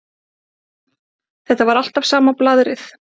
Þetta var alltaf sama blaðrið.